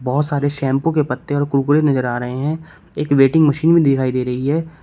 बहोत सारे शैंपू के पत्ते और कुरकुरे नजर आ रहे हैं एक वेटिंग मशीन भी दिखाई दे रही है।